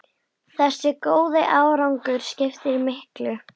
Þessi góði árangur skiptir miklu.